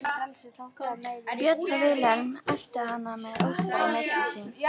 Björn og Vilhelm eltu hana með Óskar á milli sín.